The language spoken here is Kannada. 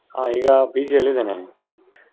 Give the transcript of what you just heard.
ಹಾ ಈಗ PG ಅಲ್ಲಿ ಇದೇನೆ.